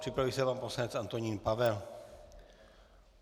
Připraví se pan poslanec Antonín Pavel.